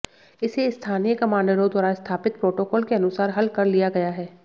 इसे स्थानीय कमांडरों द्वारा स्थापित प्रोटोकॉल के अनुसार हल कर लिया गया है